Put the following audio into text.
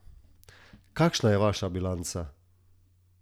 Kakšna je vaša bilanca?